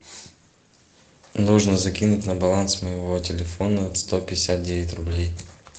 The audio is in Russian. нужно закинуть на баланс моего телефона сто пятьдесят девять рублей